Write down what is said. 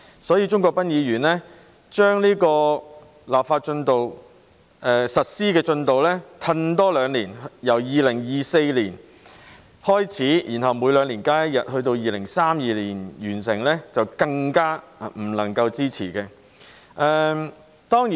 因此，鍾國斌議員把實施進度再延後兩年，由2024年開始，然後每兩年增加一天假期，到2032年完成，就更不能夠支持。